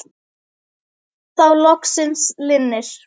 Þá loksins linnir.